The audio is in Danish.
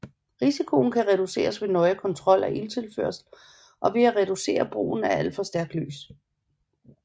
Risikoen kan reduceres ved nøje kontrol af ilttilførsel og ved at reducere brugen af for stærkt lys